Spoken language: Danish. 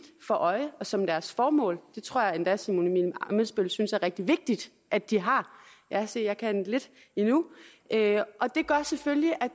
for øje og som deres formål det tror jeg endda at simon emil ammitzbøll synes er rigtig vigtigt at de har ja se jeg kan lidt endnu og det gør selvfølgelig at